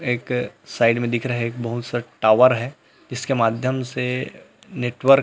एक साइड मे दिख रहा है बहुत सारा टावर है इसके माध्यम से नेटवर्क --